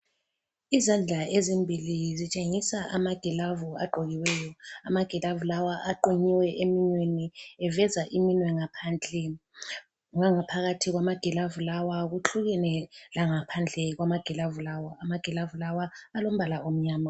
Izandla ezimbili zitshengisa amagilavu agqokiweyo. Amagilavu lawa aqunyiwe eminweni eveza iminwe ngaphandle. Ngangaphakathi kwamagilavu lawa kuhlukene langaphandle kwamagilavu lawa. Amagilavu lawa alombala omnyama.